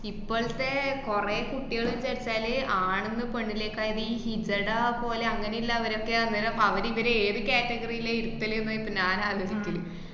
ഇപ്പോളത്തെ കൊറേ കുട്ടികൾ വച്ചച്ചാല് ആണ്ന്ന് പെണ്ണിലേക്കായത് ഈ ഹിജഡ പോലെ അങ്ങനെല്ലവരൊക്കെ ആന്ന്, അപ്പ അവര് ഇവര് ഏത് category ലേ ഇരിത്തലെന്നാ ഇപ്പ ഞാനാലോചിക്കല്.